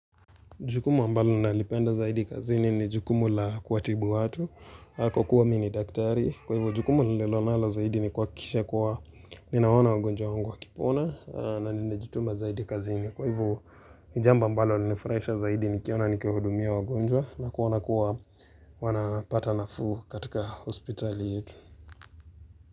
Jukumu ambalo nalipenda zaidi kazini ni jukumu la kuwatibu watu, kwa kuwa mimi ni daktari, kwa hivyo jukumu nililonalo zaidi ni kuhakikisha kuwa ninaona wagonjwa wangu wakipona na ninajituma zaidi kazini. Kwa hivyo ni jambo ambalo linanifurahisha zaidi nikiona nikihudumia wagonjwa na kuona kuwa wanapata nafuu katika hospitali yetu.